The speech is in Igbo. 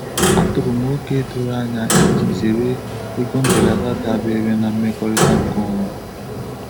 Atụrụ m ókè doro anya iji zere ego mbelata dabere na mmekọrịta nkeonwe.